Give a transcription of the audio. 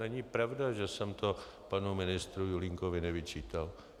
Není pravda, že jsem to panu ministru Julínkovi nevyčítal.